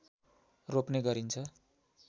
रोप्ने गरिन्छ